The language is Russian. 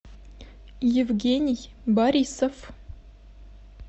евгений борисов